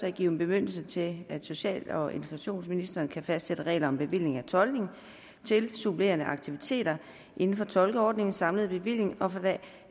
at give en bemyndigelse til at social og integrationsministeren kan fastsætte regler om bevilling af tolkning til supplerende aktiviteter inden for tolkeordningens samlede bevilling og for det